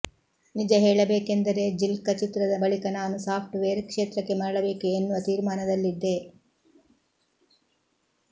ನಿಜ ಹೇಳಬೇಕೆಂದರೆ ಜಿಲ್ಕ ಚಿತ್ರದ ಬಳಿಕ ನಾನು ಸಾಫ್ಟ್ ವೇರ್ ಕ್ಷೇತ್ರಕ್ಕೆ ಮರಳಬೇಕು ಎನ್ನುವ ತೀರ್ಮಾನದಲ್ಲಿದ್ದೆ